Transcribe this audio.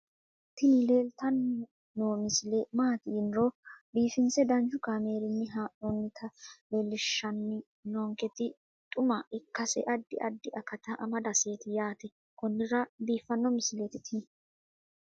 tini leeltanni noo misile maaati yiniro biifinse danchu kaamerinni haa'noonnita leellishshanni nonketi xuma ikkase addi addi akata amadaseeti yaate konnira biiffanno misileeti tini